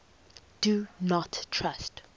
do not trust